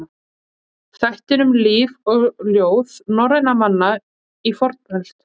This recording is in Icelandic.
Þættir um líf og ljóð norrænna manna í fornöld.